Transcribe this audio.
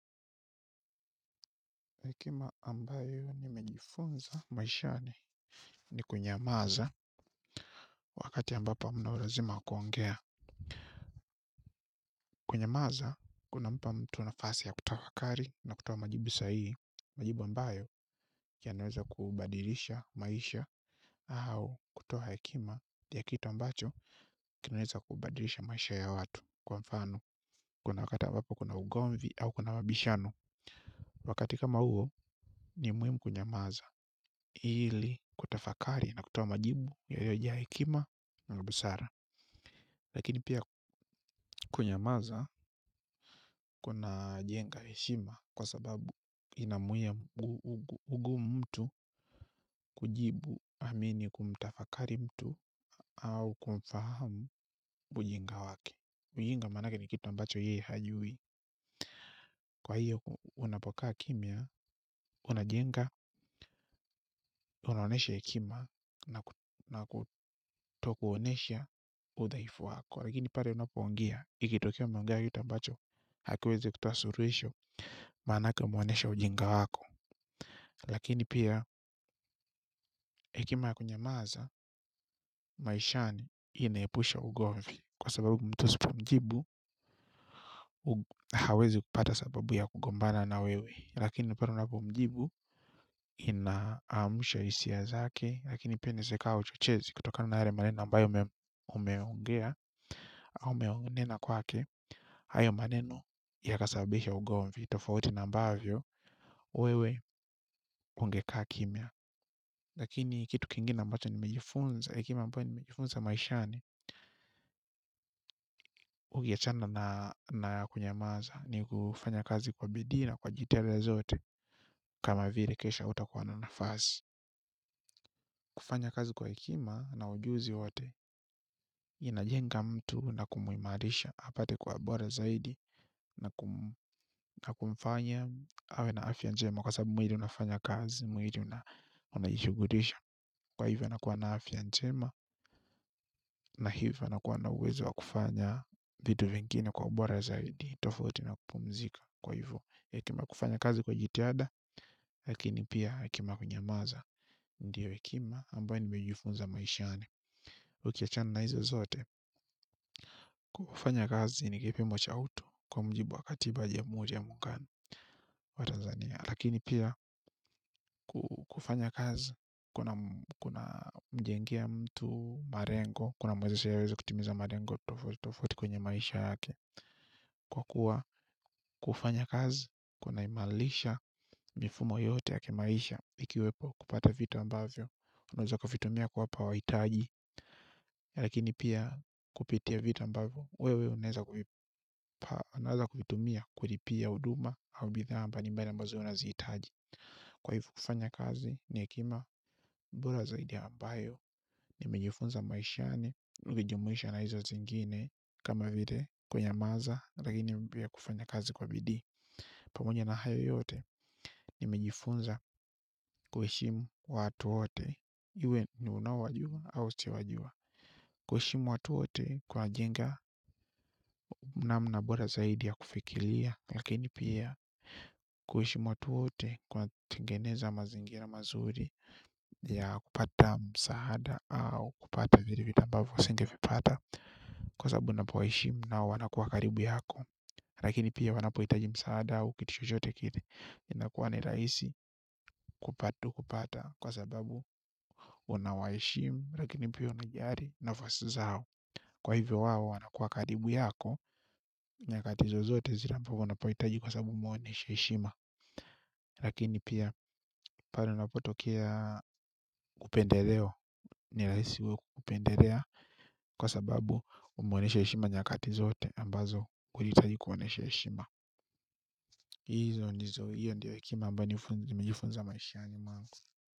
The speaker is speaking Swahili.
Hekima ambayo nimejifunza maishani ni kunyamaza wakati ambapo mnaulazima kuongea. Kunyamaza kunampa mtu nafasi ya kutafakari na kutowa majibu sahihi. Majibu ambayo ya naweza kubadilisha maisha au kutowa hekima ya kitu ambacho kinaweza kubadilisha maisha ya watu kwa mfano kuna wakata ambapo kuna ugomvi au kuna mabishano. Wakati kama huo ni muhimu kunyamaza ili kutafakari na kutowa majibu yaliyo jaa hekima na busara. Lakini pia kunyamaza kuna jenga heshima kwa sababu inamwia ugumu mtu kujibu amini kumtafakari mtu au kumfahamu ujinga wake. Mjinga maanake ni kitu ambacho yeye hajui. Kwa hiyo unapokaa kimya unajenga unaonesha hekima na kutokuonesha udhaifu wako. Lakini pale unapongea ikitokea umeongea kitu ambacho hakiwezi kutowa suluhisho manake umeonesha ujinga wako. Lakini pia hekima ya kunyamaza maishani inayepusha ugomvi. Kwa sababu mtu usipomjibu hawezi kupata sababu ya kugombana na wewe. Lakini pale unapomujibu inaamusha hisia zake lakini pia inaeza ikawa uchochezi kutokana na yale maneno ambayo umeongea au umenena kwake hayo maneno ya kasabisha ugomvi tofauti na mbavyo wewe ungekaa kimya lakini kitu kingine ambacho nimejifunza hekima ambayo nimejifunza maishani ukiachana na kunyamaza ni kufanya kazi kwa bidii na kwa jitihada zote kama vile kesho hautakuwa na nafasi kufanya kazi kwa hekima na ujuzi wote inajenga mtu na kumuimarisha apate kuwa bora zaidi na kumfanya awe na afya njema kwa sababu mwili unafanya kazi mwili unajishughulisha kwa hivyo nakuwa na afya njema na hivyo nakuwa na uwezo kufanya vitu vingine kwa ubora zaidi tofauti na kupumzika kwa hivo hekima ya kufanya kazi kwa jitihada lakini pia hekima ya kunyamaza ndiyo hekima ambayo nimejifunza maishani ukiachana na hizo zote. Kufanya kazi ni kipimo cha utu kwa mjibu wa katiba ya Jamuhuri ya Muungano wa Tanzania. Lakini pia kufanya kazi kuna mjengea mtu marengo. Kuna mwezesha yeye aweze kutimiza marengo tofauti tofauti kwenye maisha yake. Kwa kuwa kufanya kazi kuna imalisha mifumo yote ya kimaisha. Ikiwepo kupata vita ambavyo unaweza kuvitumia kuwapa wahitaji. Lakini pia kupitia vitu ambavo wewe unaeza kuvitumia kulipia huduma au bidhaa mbali mbali ambazo unazihitaji kwa hivo kufanya kazi ni hekima bora zaidi ambayo nimejifunza maishani nukijumuisha na hizo zingine kama vile kunyamaza lakini mpya kufanya kazi kwa bidii pamoja na hayo yote nimejifunza kuheshimu watu wote iwe ni unaowajua au usiowajua kuheshimu watu wote kwajenga namna bora zaidi ya kufikilia lakini pia kuheshimu watu wote kunatengeneza mazingira mazuri ya kupata msaada au kupata vile vitu ambavo usinge vipata kwa sababu unapowaheshimu nao wanakuwa karibu yako lakini pia wanapo hiitaji msaada au kitu chochote kile inakuwa nirahisi kupata kupata kwa sababu unawaheshimu lakini pia unajali nafasi zao kwa hivyo wao wanakuwa karibu yako. Nyakati zozote zile ambavo unapohitaji kwa sababu umuoneshe heshima. Lakini pia pale unapotokea upendeleo. Nirahisi wewe kupendelea kwa sababu umuoneshe heshima nyakati zote ambazo kulihitaji kuoneshe heshima. Izo ndizo hiyo ndio hekima ambayo nimejifunza maishani mwangu.